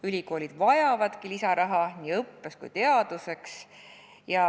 Ülikoolid vajavadki lisaraha nii õppeks kui ka teaduseks.